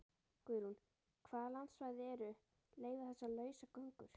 Guðrún: Hvaða landsvæði eru, leyfa þessa lausagöngu?